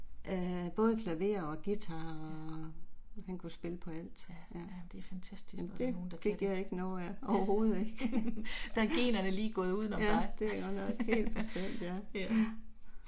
Æh både klaver og guitar. Han kunne spille på alt. Ja. Men det fik jeg ikke noget af, overhovedet ikke. Ja. Ja det er godt nok helt bestemt ja